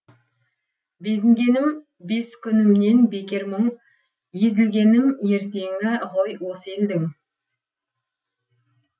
безінгенім бес күнімнен бекер мұң езілгенім ертеңі ғой осы елдің